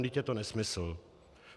Vždyť je to nesmysl.